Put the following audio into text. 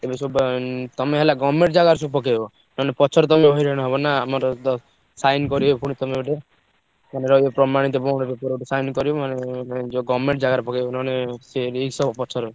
ତେମେ ସବୁ ଉଁ ତମେ ହେଲା government ଜାଗାରେ ସବୁ ପକେଇବ। ନହେଲେ ପଛରେ ତମେ ହଇରାଣ ହବ ନା ଆମର ଦ sign କରିବେ ପୁଣି ତମଠୁ। ତମେ ରହିବ ପ୍ରମାଣିତ bond paper ରେ ଗୋଟେ sign କରିବ। ନହେଲେ ଯୋଉ government ଜାଗାରେ ପକେଇବ ନହେଲେ ସେ risk ହବ ପଛରେ।